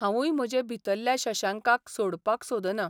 हावूय म्हजे भितरल्या शशांकाक सोडपाक सोदना.